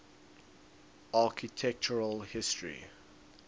architectural history